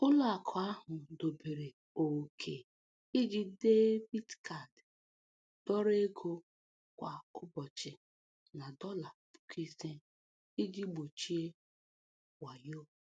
Ụlọakụ ahụ dobere ókè iji debiit kaadi dọrọ ego kwa ụbọchị na dọla puku ise iji gbochie wayo.